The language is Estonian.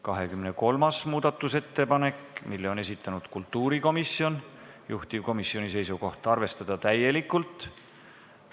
23. muudatusettepaneku on esitanud kultuurikomisjon, juhtivkomisjoni seisukoht: arvestada seda täielikult.